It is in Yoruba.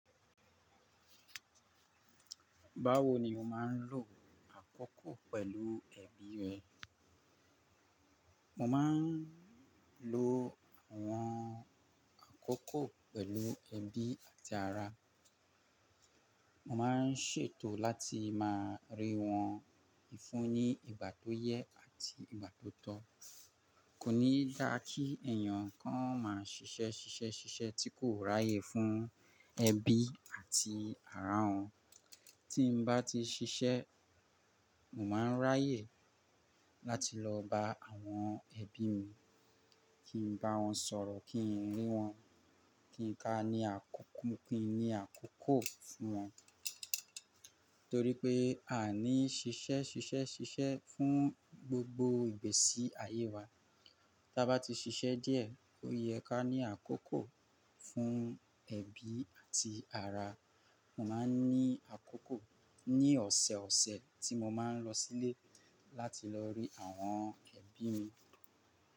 Báwo ni mo máa ń lo àkókò pẹ̀lú ẹbí rẹ? Mo máa ń lo àwọn àkókò pẹ̀lú ẹbí àti ará. Mo máa ń ṣètò láti máa rí wọn fúnni ìgbà tó yẹ àti ìgbà tó tọ́. Kò ní dá kí ẹ̀yàn kan máa ṣiṣẹ́ ṣiṣẹ́ ṣiṣẹ́ tí kò ráyè fún ẹbí àti ará òun. Tí n bá ti ṣiṣẹ́, mo máa ń ráyè láti lọ bá àwọn ẹbí mi, kí n bá wọn sọ̀rọ̀, kí n rí wọn, kí n ká ní àkókó, kí n ní àkókò fún wọn. Torí pé a ní ṣiṣẹ́ ṣiṣẹ́ ṣiṣẹ́ fún gbogbo ìgbésí ayé wa. Ta bá ti ṣiṣẹ́ díẹ̀, ó yẹ ká ní àkókò fún ẹbí àti ará. Mo máa ń ní àkókò ní ọ̀sọ̀ọ̀sẹ̀ tí mo máa ń lọ sílé láti lọ rí àwọn ẹbí mi.